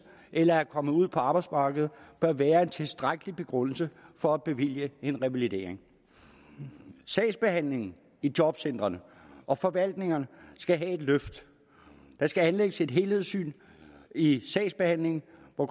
eller er kommet ud på arbejdsmarkedet bør være en tilstrækkelig begrundelse for at bevilge en revalidering sagsbehandlingen i jobcentrene og forvaltningerne skal have et løft der skal anlægges et helhedssyn i sagsbehandlingen hvor